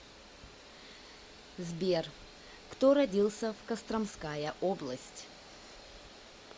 сбер кто родился в костромская область